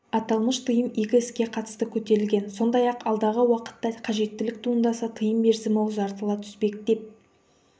аталмыш тыйым екі іске қатысты көтерілген сондай-ақ алдағы уақытта қажеттілік туындаса тыйым мерзімі ұзартыла түспек деп